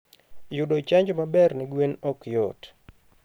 Yudo chanjo maber ne gwen ok yot.